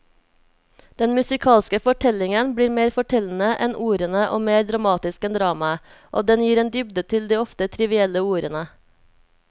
Den musikalske fortellingen blir mer fortellende enn ordene og mer dramatisk enn dramaet, og den gir en dybde til de ofte trivielle ordene.